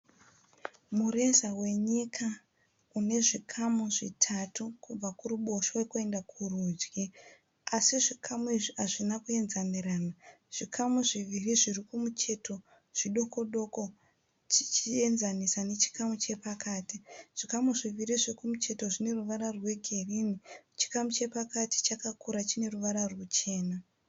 Mureza wenyika une zvikamu zvitatu kubva kuruboshwe kuenda kurudyi asi zvikamu izvi hazvina kuenzanirana. Zvikamu zviviri zviri kumucheto zvidoko doko tichienzanisa nechikamu chiri pakati. Zvikamu zviviri zviri kumucheto zvine ruvara rwegirinhi. Chikamu chepakati chakakura chine ruvara ruchena.